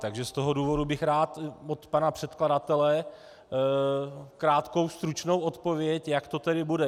Takže z toho důvodu bych rád od pana předkladatele krátkou stručnou odpověď, jak to tedy bude.